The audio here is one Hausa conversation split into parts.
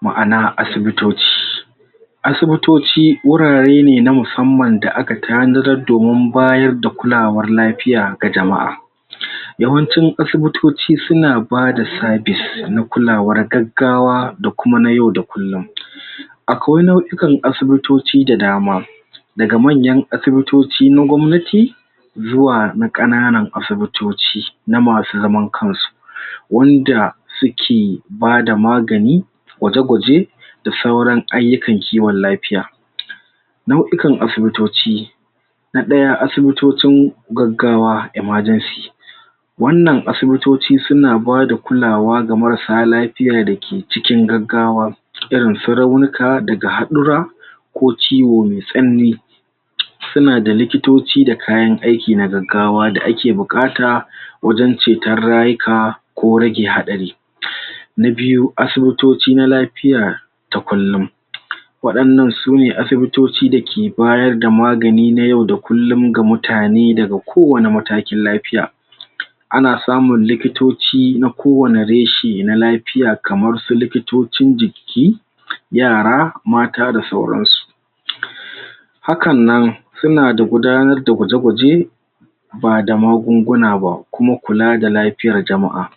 Ma'ana asibitoci asibitoci wurare ne na musamman da a ka taddadar domin bayar da kulawar lafiya ga jama'a. Yawanci asibitoci su na ba da service na kulawar gagawa da kuma na yau da kullum. Akwai nau'yukan asibitoci da dama da ga manyan asibitoci na gwamnati zuwa na kananan asibitoci na masu zaman kan su wanda su ke bada magani gwaje-gwaje, da sauran ayukan kiwon lafiya nauyukan asibitoci. Na daya, asibitocin gaggawa, emergency. wannan asibitoci su na ba da kulawa ga marasa lafiyada ke cikin gaggawa irin su raunuka da ga hadura ko ciwo me sanani su na da likitoci da kayan aiki na gaggawa da ake bukata wajen cetar rayuka ko rage hadari. Na biyu, asibitoci na lafiya ta kullum. Wadannan su ne asibitoci da ke bayar da magani na yau da kullum ga mutane da ga ko wani matakin lafiya, a na samun likitoci na kowani reshi na lafiya kamar su likitocin jiki, yara, mata da sauran su. Hakan nan, su na da gudanar da guje-guje ba da magunguna ba kuma kula da lafiyar jama'a.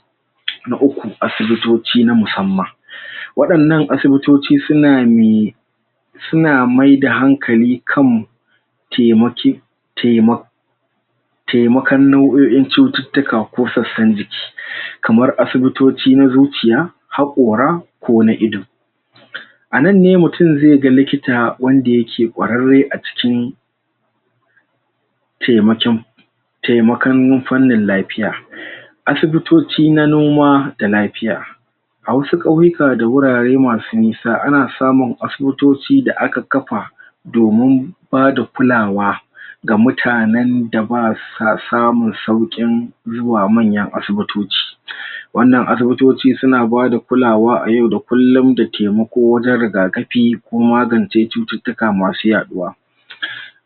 Na uku, asibitoci na musamman wadannan asibitoci su na su na mai da hankali kan taimaki taima taimakan nau'yoyin cututuka ko tsatsan jiki, kamar asibitoci na zuciya, hakora, ko na ido a nan ne mutum ze ga likita wanda ya ke kwarare a cikin taimakan lafiya. Asibitoci na noma da lafiya, a wasu kauyuka da wurare masu nisa, ana samun asibitoci da aka kafa domun ba da kulawa ga mutanen da ba samun saukin zuwa manyan asibitoci. Wannan asibitoci su na ba da kulawa a yau da kullum da taimako wajen rigakafi ko magance cututuka masu yaduwa.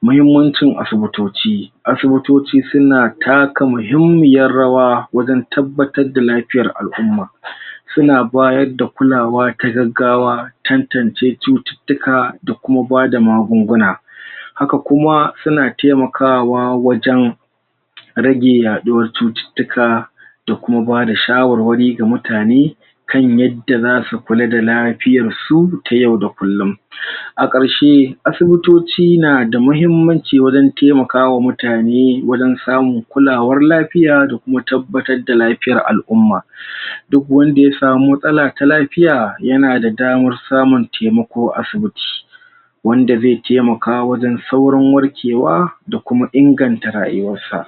Mahimmancin asibitoci, asibitoci su na taka mahimmiyar rawa wajen tabbatar da lafiyar al'umma, su na bayar da kulawa ta gaggawa, tantance cututuka da kuma ba da magunguna. Haka kuma su na taimakawa wajen rage yaduwar cututuka da kuma ba da shawarwari ga mutane kan yadda za su kula da lafiyar su ta yau da kullum. A karshe, asibitoci na da mahimmanci wajen taimakawa mutane wajen samu kulawar lafiya da kuma tabbatar da lafiyar alumma. Duk wanda ya samu matsala ta lafiya ya na da damar samun taimako a asibiti. Wanda ze taimaka wajen saurin warkewa da kuma inganta rayuwar sa.